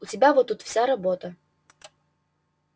у тебя вот тут вся работа